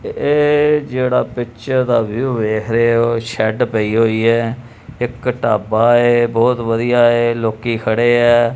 ਇਹ ਜਿਹੜਾ ਪਿਕਚਰ ਦਾ ਵਿਊ ਵੇਖ ਰਹੇ ਹੋ ਸ਼ੈਡ ਪਈ ਹੋਈ ਹੈ ਇਕ ਢਾਬਾ ਹ ਬਹੁਤ ਵਧੀਆ ਹ ਲੋਕੀ ਖੜੇ ਐ।